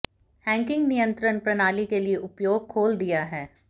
hacking नियंत्रण प्रणाली के लिए उपयोग खोल दिया है